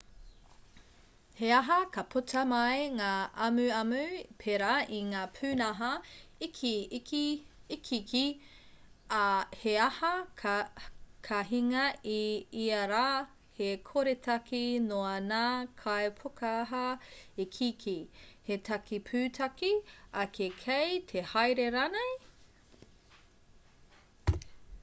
he aha ka puta mai ngā amuamu pērā i ngā pūnaha ikiiki ā he aha ka hinga i ia rā he koretake noa ngā kaipūkaha ikiiki he take pūtake ake kei te haere rānei